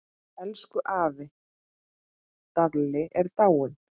Elsku afi Dalli er látinn.